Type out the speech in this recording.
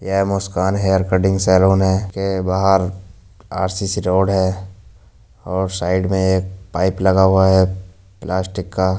येह Muskan hair cutting salon है। इस के बाहर आरसीसी रोड है और साइड में एक पाइप लगा हुआ है प्लास्टिक का।